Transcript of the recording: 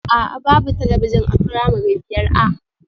A'a, babu talabijin a firamare biyar A